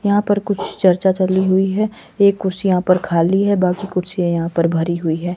यहां पर कुछ चर्चा चली हुई है एक कुर्सी यहां पर खाली है बाकी कुर्सियां यहां पर भरी हुई है।